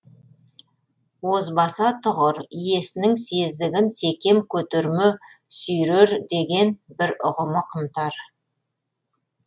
озбаса тұғыр иесінің сезігін секем көтерме сүйрер деген бір ұғымы қымтар